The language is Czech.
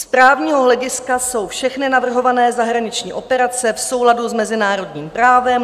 Z právního hlediska jsou všechny navrhované zahraniční operace v souladu s mezinárodním právem.